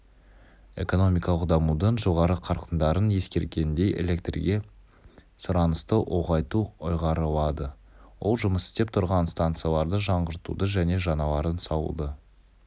экономикалық дамудың жоғары қарқындарын ескергенде электрге сұранысты ұлғайту ұйғарылады ол жұмыс істеп тұрған станцияларды жаңғыртуды және жаңаларын салуды